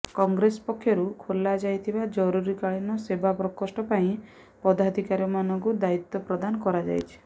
କଂଗ୍ରେସ ପକ୍ଷରୁ ଖୋଲାଯାଇଥିବା ଜରୁରୀକାଳୀନ ସେବା ପ୍ରକୋଷ୍ଠ ପାଇଁ ପଦାଧିକାରୀମାନଙ୍କୁ ଦାୟିତ୍ୱ ପ୍ରଦାନ କରାଯାଇଛି